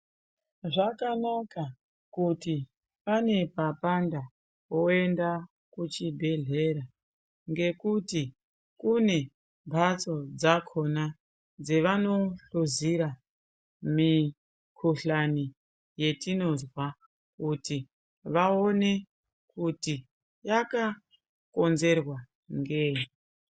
Zvakanaka kuti pane papanda woenda kuchi bhehleya ngekuti kune mbatso dzakona dzevano hluzira mikuhlani ye tinozwa kuti vaone kuti yaka konzerwa ngei.